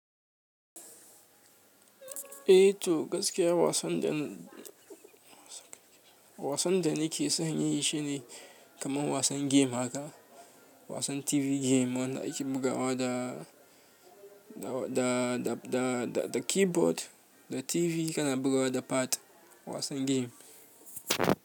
Eh to gaskiya wasan da ni, wasan da ni ke son yi shi ne kaman wasan game haka. Wasan tv game wanda ake bugawa da, da da keyboard da tv kana bugawa da pad.